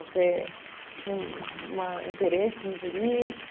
Você tinha um uma um interesse por isso?